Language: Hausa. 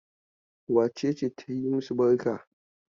Wace ce ta yi masu barka?